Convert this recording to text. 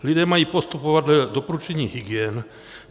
Lidé mají postupovat dle doporučení hygien.